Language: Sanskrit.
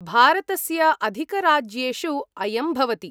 भारतस्य अधिकराज्येषु अयं भवति।